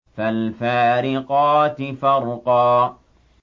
فَالْفَارِقَاتِ فَرْقًا